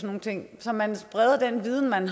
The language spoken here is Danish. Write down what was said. nogle ting så man spreder den viden man